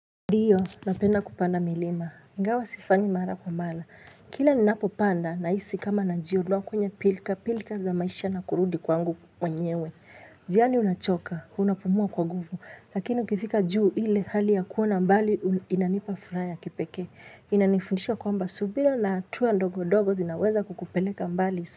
Ndiyo, napenda kupanda milima. Ingawa sifanyi mara kwa mara. Kila ni napopanda nahisi kama najua. Na kwenye pilika. Pilika za maisha na kurudi kwangu mwenyewe. Njani unachoka. Unapumua kwa nguvu. Lakini ukifika juu ile hali ya kuona mbali inanipa furaha ya kipekee. Inanifundisha kwamba. Subira na hatua ndogo ndogo zinaweza kukupeleka mbali.